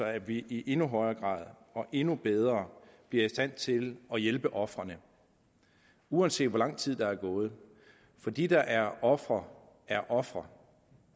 at vi i endnu højere grad og endnu bedre bliver i stand til at hjælpe ofrene uanset hvor lang tid der er gået for de der er ofre er ofre